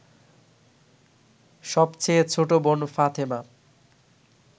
সবচেয়ে ছোট বোন ফাতেমা